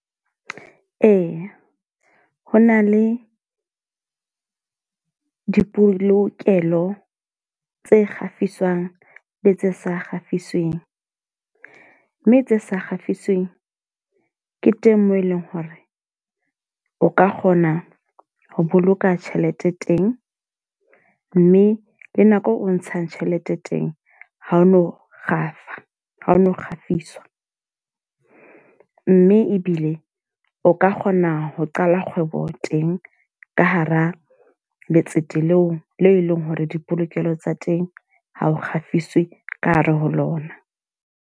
Ee, ho na le dipolokelo tse kgafiswang le tse sa kgafisweng. Mme tse sa kgafisweng ke teng moo e leng hore o ka kgona ho boloka tjhelete teng. Mme le nako o ntshang tjhelete teng ha o no kgafa, ha o no kgafiswa. Mme ebile o ka kgona ho qala kgwebo teng ka hara letsete le e leng hore dipolokelo tsa teng ha o kgafiswi ka hare ho lona.